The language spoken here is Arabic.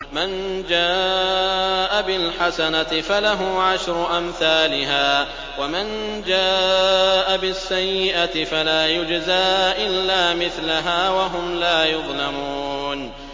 مَن جَاءَ بِالْحَسَنَةِ فَلَهُ عَشْرُ أَمْثَالِهَا ۖ وَمَن جَاءَ بِالسَّيِّئَةِ فَلَا يُجْزَىٰ إِلَّا مِثْلَهَا وَهُمْ لَا يُظْلَمُونَ